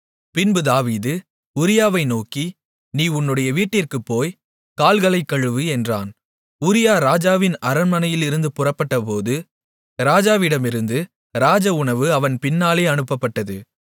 பின்பு தாவீது உரியாவை நோக்கி நீ உன்னுடைய வீட்டிற்குப் போய் கால்களை கழுவு என்றான் உரியா ராஜாவின் அரண்மனையிலிருந்து புறப்பட்டபோது ராஜாவிடமிருந்து ராஜ உணவு அவன் பின்னாலே அனுப்பப்பட்டது